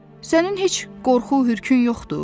Sənin heç qorxu-hürkün yoxdur?